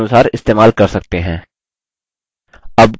अब colour settings बदलें